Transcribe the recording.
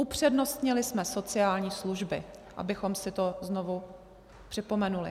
Upřednostnili jsme sociální služby, abychom si to znovu připomenuli.